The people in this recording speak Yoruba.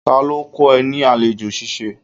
Ta ló kọ ẹ ní àlejò ṣíṣe?